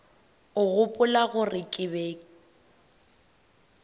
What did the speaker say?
o gopola gore ke be